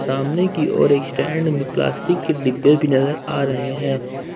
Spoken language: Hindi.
सामने की ओर एक स्टैंड में प्लास्टिक के डिब्बे भी नजर आ रहे हैं ।